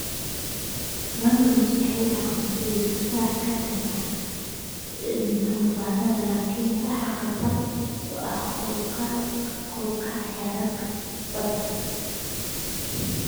Mangroves waxay u dhaqmaan sidii difaac ka dhan ah duufaannada laakiin waxaa khatar ku ah kor u kaca heerarka badda.